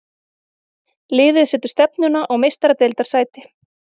Liðið setur stefnuna á Meistaradeildarsæti.